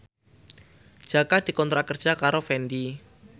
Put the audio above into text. Jaka dikontrak kerja karo Fendi